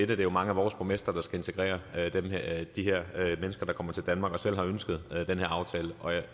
det er jo mange af vores borgmestre der skal integrere de her mennesker der kommer til danmark og som selv har ønsket den her aftale og jeg